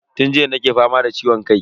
Tun jiya nake fama da ciwon kai.